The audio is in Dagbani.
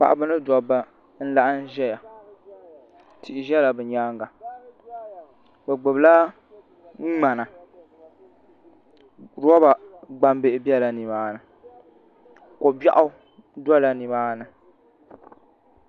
Paɣaba ni dabba n laɣam ʒɛya tihi ʒɛla bi nyaanga bi gbubila ŋmana roba gbambihi biɛla nimaani ko biɛɣu dola nimaani